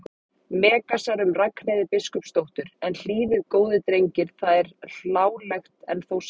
Megasar um Ragnheiði biskupsdóttur: en hlýðið góðir drengir það er hlálegt en þó satt.